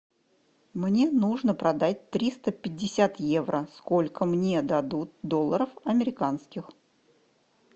мне нужно продать триста пятьдесят евро сколько мне дадут долларов американских